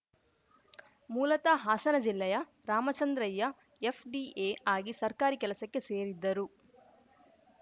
ಮೂಲತಃ ಹಾಸನ ಜಿಲ್ಲೆಯ ರಾಮಚಂದ್ರಯ್ಯ ಎಫ್‌ಡಿಎ ಆಗಿ ಸರ್ಕಾರಿ ಕೆಲಸಕ್ಕೆ ಸೇರಿದ್ದರು